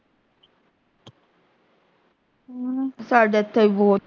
ਹਮ ਸਾਡੇ ਇਥੇ ਵੀ ਬਹੁਤ